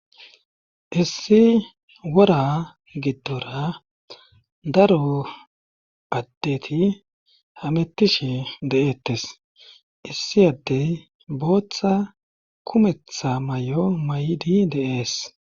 issi wora giddora daro addeti hamettishe de'eettes issi addey booththa kumetha mayo maydi de'ees